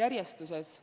järjestuses.